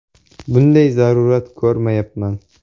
Bunday zarurat ko‘rmayapman.